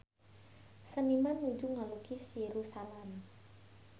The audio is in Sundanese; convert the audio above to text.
Seniman nuju ngalukis Yerusalam